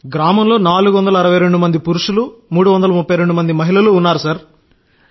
గ్రామంలో 462 మంది పురుషులు 332 మంది మహిళలు ఉన్నారు సార్